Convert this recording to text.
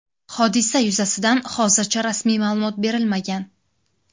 Hodisa yuzasidan hozircha rasmiy ma’lumot berilmagan.